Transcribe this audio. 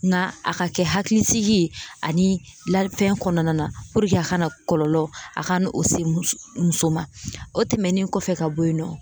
Nka a ka kɛ hakilisigi ani lafɛn kɔnɔna na a kana kɔlɔlɔ a ka n'o o se muso muso ma o tɛmɛnen kɔfɛ ka bɔ yen nɔ